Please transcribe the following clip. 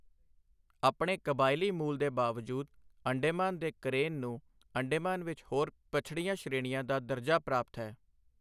ਆਪਣੇ ਕਬਾਇਲੀ ਮੂਲ ਦੇ ਬਾਵਜੂਦ, ਅੰਡੇਮਾਨ ਦੇ ਕਰੇਨ ਨੂੰ ਅੰਡੇਮਾਨ ਵਿੱਚ ਹੋਰ ਪਛੜੀਆਂ ਸ਼੍ਰੇਣੀਆਂ ਦਾ ਦਰਜਾ ਪ੍ਰਾਪਤ ਹੈ।